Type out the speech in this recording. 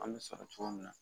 An bɛ sɔrɔ cogo min na